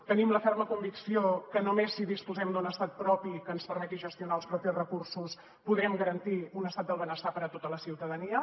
tenim la ferma convicció que només si disposem d’un estat propi que ens permeti gestionar els propis recursos podrem garantir un estat del benestar per a tota la ciutadania